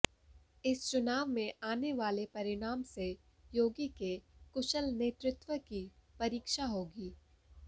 इस चुनाव में आने वाले परिणाम से योगी के कुशल नेतृत्व की परीक्षा होगी